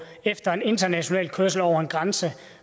efter en international kørsel over en grænse